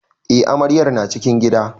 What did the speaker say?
Eh amaryar na cikin gida.